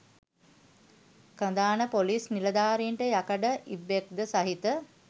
කඳාන පොලිස්‌ නිලධාරීන්ට යකඩ ඉබ්බෙක්‌ද සහිත